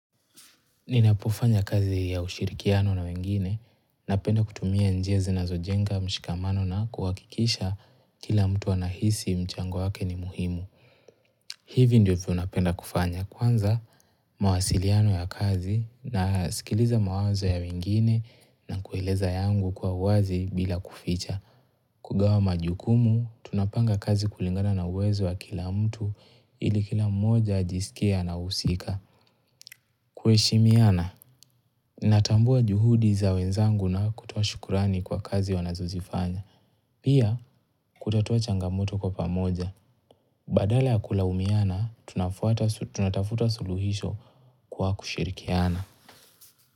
Ninapofanya kazi ya ushirikiano na wengine, napenda kutumia njia zinazojenga mshikamano na kuwakikisha kila mtu anahisi mchango wake ni muhimu. Hivi ndivyo napenda kufanya kwanza, mawasiliano ya kazi nasikiliza mawazo ya wengine na kueleza yangu kwa uwazi bila kuficha. Kugawa majukumu, tunapanga kazi kulingana na uwezo wa kila mtu ili kila mmoja ajisikie anahusika. Kuheshimiana Natambua juhudi za wenzangu na kutoa shukurani kwa kazi wanazozifanya. Pia kutatua changamoto kwa pamoja. Badala ya kulaumiana, tunafuata tunatafuta suluhisho kwa kushirikiana.